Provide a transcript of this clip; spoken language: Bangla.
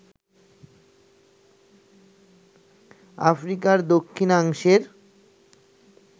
আফ্রিকার দক্ষিণাংশের